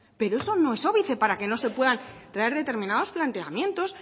pero eso no es óbice para que no se puedan traer determinados planteamientos